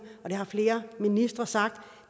det har flere ministre sagt at